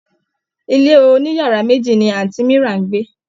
Ilé oniyara meji ni anti mira ń gbé.